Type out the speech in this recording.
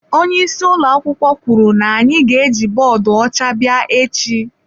Onye isi ụlọ akwụkwọ kwuru na anyị ga-eji bọọdụ ọcha bịa echi.